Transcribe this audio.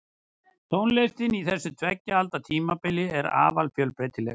Tónlistin á þessu tveggja alda tímabili var afar fjölbreytileg.